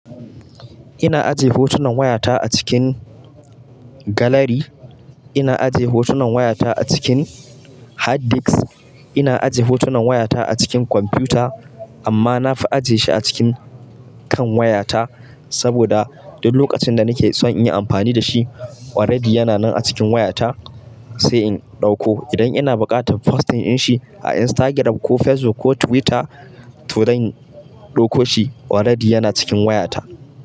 Ina aje hutunan waya ta a cikin gallery. Ina aje hotunan waya ta a cikin hard disk. Ina aje hotunan waya ta a cikin kwamfuta. Amma na fi aje shi a cikin kan waya ta saboda duk lokacin da nake son in yi amfani da shi, already yana nan a cikin wayata sai in ɗauko. Idan ina buƙatar posting in shi a Instagram ko Facebook ko Twitter, to zan ɗauko shi, already ya na cikin wayata.